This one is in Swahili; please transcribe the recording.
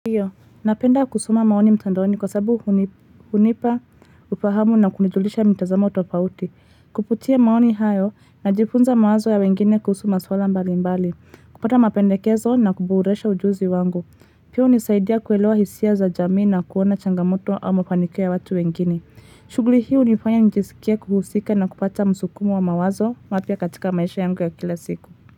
Ndiyo, napenda kusoma maoni mtandaoni kwa sababu hunipa, ufahamu na kunijulisha mitazamo tofauti. Kupitia maoni hayo najifunza mawazo ya wengine kuhusu maswala mbali mbali, kupata mapendekezo na kuboresha ujuzi wangu. Pia hunisaidia kuelewa hisia za jamii na kuona changamoto au mafanikio ya watu wengine. Shughuli hii hunifanya nijisikie kuhusika na kupata musukumo wa mawazo mapya katika maisha yangu ya kila siku.